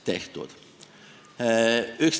Tehtud!